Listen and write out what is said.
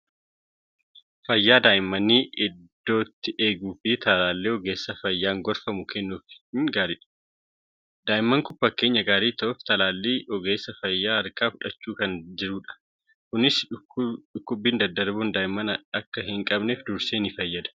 Fayyaa daa'immanii iddootti eeguuf talaallii ogeessa fayyaan gorfamu kennuufiin gaariidha. Daa'imni kun fakkeenya gaarii ta'uuf talaallii ogeessa fayyaa harkaa fudhachaa kan jirudha. Kunis dhukkubni daddarboon daa'imman akka hin qabneef dursee fayyada.